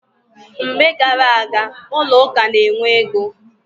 Mgbe gar aga, ụlọ ụka na-enwe ogo.